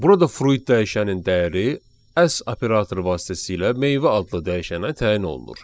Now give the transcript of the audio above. Burada fruit dəyişənin dəyəri S operator vasitəsilə meyvə adlı dəyişənə təyin olunur.